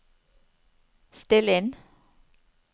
still inn